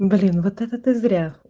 блин вот это ты зря